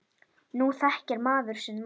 Nú þekkir maður sinn mann.